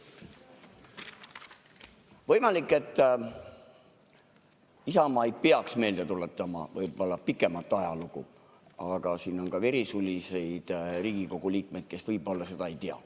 Võimalik, et Isamaa ei peaks meelde tuletama pikemat ajalugu, aga siin on ka verisulis Riigikogu liikmeid, kes võib-olla seda ei tea.